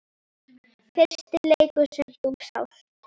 Fyrsti leikur sem þú sást?